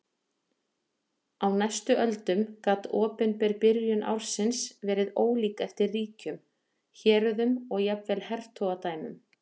Á næstu öldum gat opinber byrjun ársins verið ólík eftir ríkjum, héröðum og jafnvel hertogadæmum.